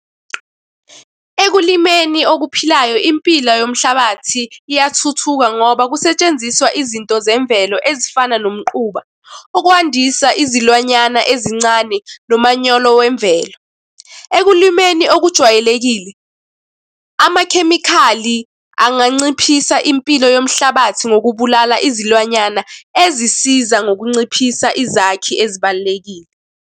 Ekulimeni okuphilayo, impila yomhlabathi iyathuthuka ngoba kusetshenziswa izinto zemvelo ezifana nomquba ukwandisa izilwanyana ezincane nomanyolo wemvelo. Ekulimeni okujwayelekile, amakhemikhali anganciphisa impilo yomhlabathi ngokubulala izilwanyana ezisiza ngokunciphisa izakhi ezibalulekile.